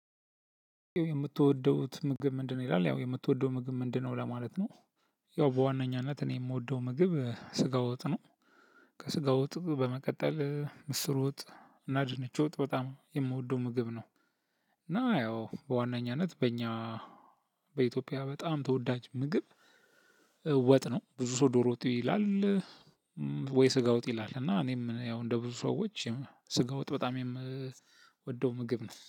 የምትወደው ምግብ ምንድነው? ይላል ያው የምትወደው ምግብ ምንድነው? ለማለት ነው። ያው በዋናኛነት እኔ የምወደው ምግብ ስጋ ወጥ ነው። ከስጋ ወጥ በመቀጠል ምስር ወጥ እና ድንች ወጥ በጣም የምወደው ምግብ ነው። እና ያው በዋናኛነት በእኛ በኢትዮጵያ በጣም ተወዳጅ ምግብ ወጥ ነው። ብዙ ሰው ዶሮ ወጥ ይላል። ወይ ስጋ ወጥ ይላል። እና እኔም ያው እንደ ብዙ ሰዎች ስጋ ወጥ በጣም የምወደው ምግብ ነው።